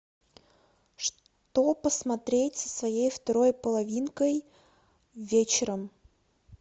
что посмотреть со своей второй половинкой вечером